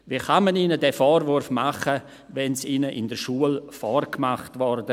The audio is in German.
Wie kann man ihnen diesen Vorwurf machen, wenn ihnen dies in der Schule vorgemacht wurde?